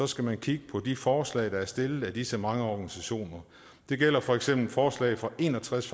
skal man kigge på de forslag der er stillet af disse mange organisationer det gælder for eksempel forslag fra en og tres